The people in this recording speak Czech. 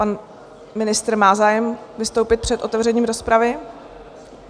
Pan ministr má zájem vystoupit před otevřením rozpravy?